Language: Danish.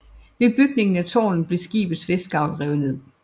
Ved bygningen af târnet blev skibets vestgavl revet ned